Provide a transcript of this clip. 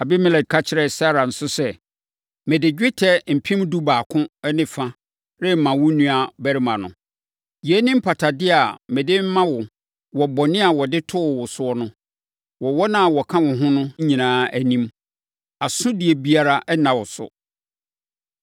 Abimelek ka kyerɛɛ Sara nso sɛ, “Mede dwetɛ kilogram dubaako ne fa rema wo nuabarima no. Yei ne mpatadeɛ a mede rema wo wɔ bɔne a wɔde too wo so no, wɔ wɔn a wɔka wo ho no nyinaa anim. Asodie biara nna wo so.”